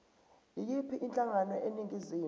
yiyiphi inhlangano eningizimu